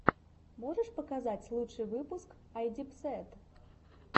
можешь показать лучший выпуск айдипсэд